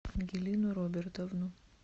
ангелину робертовну